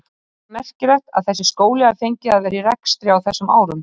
Finnst þér merkilegt að þessi skóli hafi fengið að vera í rekstri á þessum árum?